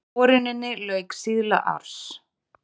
Boruninni lauk síðla árs